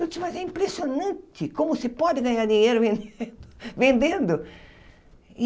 Eu, mas é impressionante como se pode ganhar dinheiro ven vendendo.